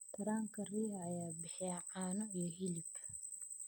Taranka riyaha ayaa bixiya caano iyo hilib.